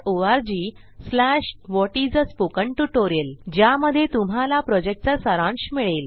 httpspoken tutorialorgWhat is a Spoken Tutorial ज्यामध्ये तुम्हाला प्रॉजेक्टचा सारांश मिळेल